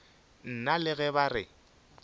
nna le ge ba re